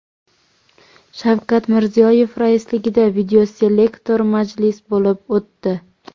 Shavkat Mirziyoyev raisligida videoselektor majlis bo‘lib o‘tdi.